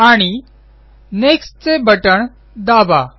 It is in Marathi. आणि नेक्स्ट चे बटण दाबा